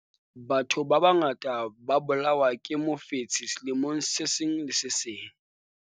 batho ba bangata ba bolawa ke mofetshe selemong se seng le se seng